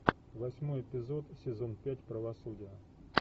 восьмой эпизод сезон пять правосудие